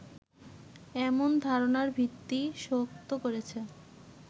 এমন ধারনার ভিত্তি শক্ত করেছে